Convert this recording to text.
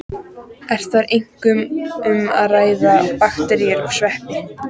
Er þar einkum um að ræða bakteríur og sveppi.